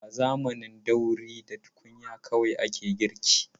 A zamanin dauri da tukunya kawai ake girki.